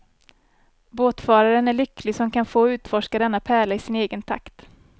Båtfararen är lycklig som kan få utforska denna pärla i sin egen takt.